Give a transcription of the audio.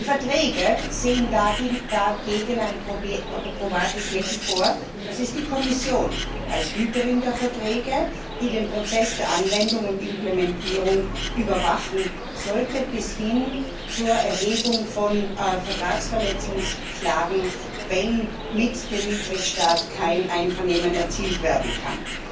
Die Verträge sehen dagegen ein probates Mittel vor, nämlich die Kommission als Hüterin der Verträge, die den Prozess der Anwendung und Implementierung überwachen sollte, bis hin zur Erhebung von Vertragsverletzungsklagen, wenn mit dem Mitgliedstaat kein Einvernehmen erzielt werden kann.